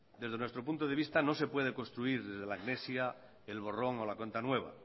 desde nuestro punto de vista no se puede construir desde la amnesia el borrón o la cuenta nueva